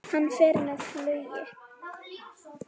Hann fer með flugi.